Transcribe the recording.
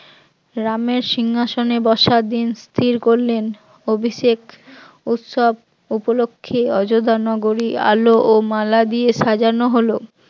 রামের সিংহাসনে বসার দিন স্থির করলেন, অভিষেক উৎসব উপলক্ষে অযোধ্যা নগরী আলো ও মালা দিয়ে সাজানো হলো